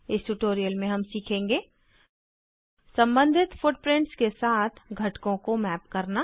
इस ट्यूटोरियल में हम सीखेंगे सम्बंधित फुटप्रिंट्स के साथ घटकों को मैप करना